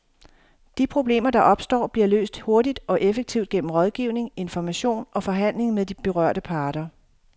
De problemer, der opstår, bliver løst hurtigt og effektivt gennem rådgivning, information og forhandling med de berørte parter.